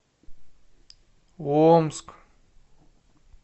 омск